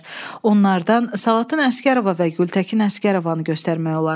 Onlardan Salatın Əsgərova və Gültəkin Əsgərovanı göstərmək olar.